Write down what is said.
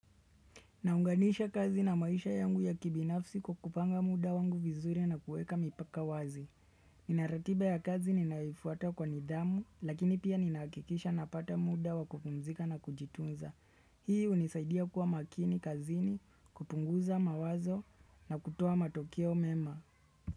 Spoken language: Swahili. Naunganisha kazi na maisha yangu ya kibinafsi kukupanga muda wangu vizuri na kueka mipaka wazi. Inaratiba ya kazi ninaifuata kwa nidhamu lakini pia ninahakikisha napata muda wakupumzika na kujitunza. Hii hunisaidia kuwa makini kazini, kupunguza mawazo na kutoa matokeo mema.